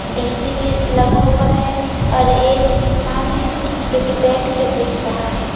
DJ भी लगा हुआ है और एक इंसान है जो कि बैठ के देख रहा है।